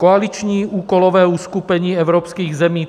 Koaliční úkolové uskupení evropských zemí